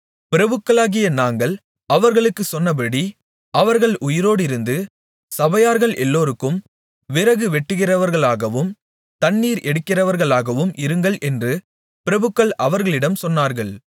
பிரபுக்களாகிய நாங்கள் அவர்களுக்குச் சொன்னபடி அவர்கள் உயிரோடிருந்து சபையார்கள் எல்லோருக்கும் விறகு வெட்டுகிறவர்களாகவும் தண்ணீர் எடுக்கிறவர்களாகவும் இருங்கள் என்று பிரபுக்கள் அவர்களிடம் சொன்னார்கள்